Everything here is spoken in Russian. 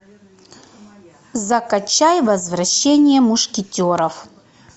закачай возвращение мушкетеров